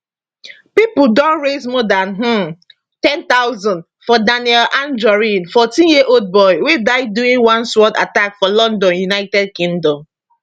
pipo don raise more dan um 10000 for daniel anjorin 14yearold boy wey die during one sword attack for london united kingdom